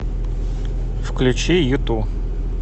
включи юту